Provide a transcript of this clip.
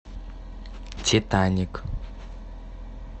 титаник